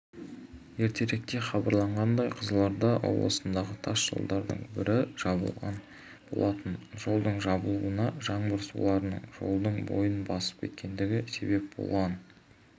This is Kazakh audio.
ертеректе хабарланғандай қызылорда облысындағы тас жолдардың бірі жабылған болатын жолдың жабылуына жаңбыр суларының жолдың бойын басып кеткендігі себеп болған